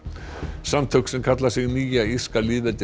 samtök sem kalla sig Nýja írska